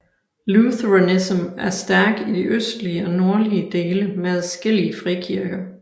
Lutheranism er stærk i de østlige og nordlige dele med adskillige frikirker